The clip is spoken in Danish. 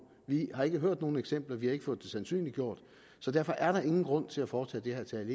vi har ikke hørt om nogen eksempler vi har ikke fået det sandsynliggjort så derfor er der ingen grund til at foretage det herre tage